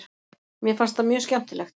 Mér fannst það mjög skemmtilegt.